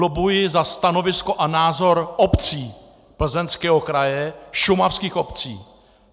Lobbuji za stanovisko a názor obcí Plzeňského kraje, šumavských obcí.